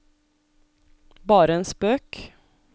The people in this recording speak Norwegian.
bare en spøk